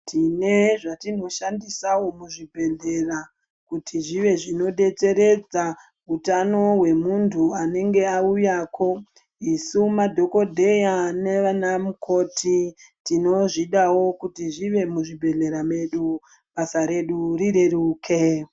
Tine zvatinoshandisawo muzvibhehlera kuti zvive zvinobetseredza utano hwemuntu anenge auyako, isu madhokoteya nana mukoti tinozvidawo kuti zvive muzvibhehlera mwedu ,basa redu rireruke.